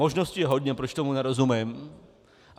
Možností je hodně, proč tomu nerozumím.